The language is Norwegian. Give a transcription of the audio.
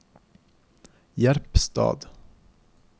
Jerpstad